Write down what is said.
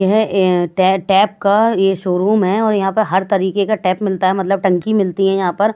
यह टेप का ये शोरूम है और यहां पर हर तरीके का टैप मिलता है मतलब टंकी मिलती है यहां पर।